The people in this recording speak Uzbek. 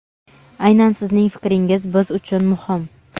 Aynan sizning fikringiz biz uchun muhim!.